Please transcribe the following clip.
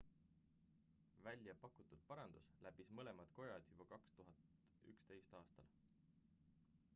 välja pakutud parandus läbis mõlemad kojad juba 2011 aastal